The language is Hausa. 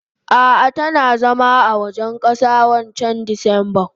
Ah ah tana zama a gidan kasa wancan disemban.